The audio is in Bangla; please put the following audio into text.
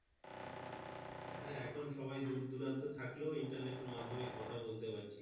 হ্যাঁ এখন সবাই দূরদূরান্ততে থাকলে Internet এর মাধ্যমে কথা বলতে পারছি।